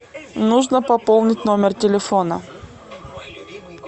нужно пополнить номер телефона